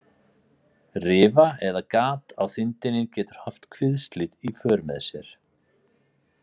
Rifa eða gat á þindinni getur haft kviðslit í för með sér.